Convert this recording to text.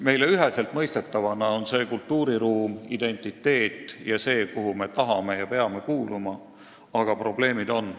Meile üheselt mõistetavana on tegu kultuuriruumiga, identiteediga ja sellega, kuhu me tahame ja peame kuuluma, aga probleeme on.